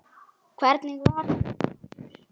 Ekki mun þér af veita.